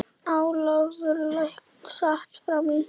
Ólafur læknir sat fram í.